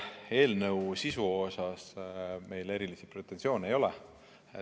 Selle eelnõu sisu osas meil erilisi pretensioone ei ole.